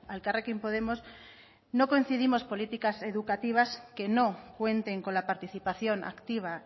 elkarrekin podemos no concebimos políticas educativas que no cuenten con la participación activa